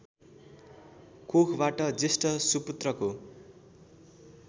कोखबाट जेष्ठ सुपुत्रको